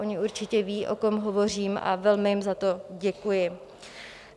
Oni určitě vědí, o kom hovořím, a velmi jim za to děkuji.